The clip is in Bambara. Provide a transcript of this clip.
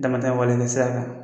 Damata wale